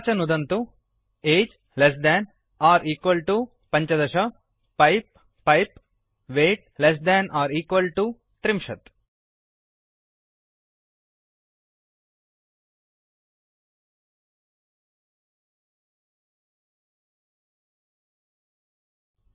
तथा च नुदन्तु age less than or equal to पञ्चदश १५ पैप् पैप् weight less than or equal to त्रिंशत् ३०